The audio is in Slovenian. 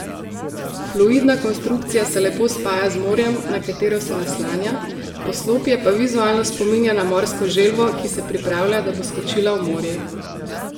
Fluidna konstrukcija se lepo spaja z morjem, na katero se naslanja, poslopje pa vizualno spominja na morsko želvo, ki se pripravlja, da bo skočila v morje.